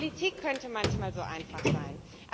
Politik könnte manchmal so einfach sein.